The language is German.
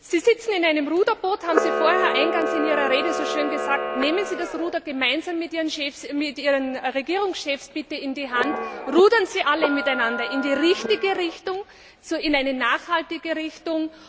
Sie sitzen in einem Ruderboot, haben Sie eingangs in Ihrer Rede so schön gesagt. Nehmen Sie das Ruder gemeinsam mit Ihren Kollegen Regierungschefs bitte in die Hand, rudern Sie alle miteinander in die richtige Richtung, in eine nachhaltige Richtung!